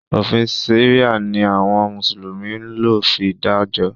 Òfin sẹ̀ríà ni àwọn mùsùlùmí ń lò fi dájọ́.